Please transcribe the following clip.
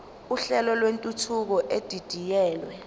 uhlelo lwentuthuko edidiyelwe